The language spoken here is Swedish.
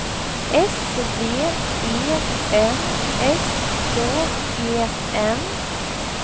S V E N S K E N